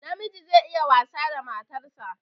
Namiji zai iya wasa da matar sa